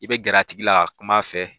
I bɛ gɛrɛ a tigi la ka kuma a fɛ